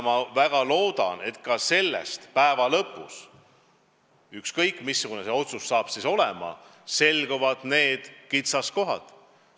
Ma väga loodan, et päeva lõpuks – ükskõik, missugune see tulemus saab olema – selguvad kõik kitsaskohad.